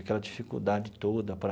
Aquela dificuldade toda para...